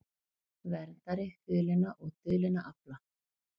Verndari hulinna og dulinna afla